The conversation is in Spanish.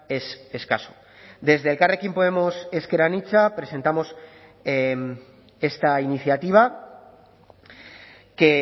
es escaso desde elkarrekin podemos ezker anitza presentamos esta iniciativa que